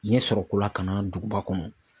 Ɲɛ sɔrɔ ko la ka na duguba kɔnɔ